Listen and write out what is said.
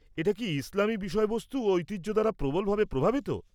-এটা কি ইসলামী বিষয়বস্তু ও ঐতিহ্য দ্বারা প্রবলভাবে প্রভাবিত?